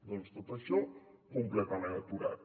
doncs tot això completament aturat